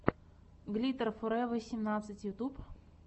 глиттер форева семнадцать ютюб